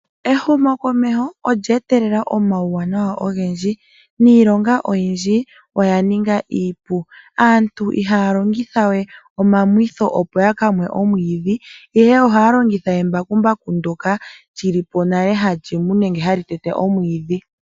Ehumokomeho olya etelela uuwanawa owundji ,niilonga oyindji oya ninga iipu. Aantu ihaya longithawe omamwitho, opo ya ka mwe omwiidhi, ihe ohaya longitha embakumbaku ndyoka li li po nale hali mu nenge hali tete omwiidhi.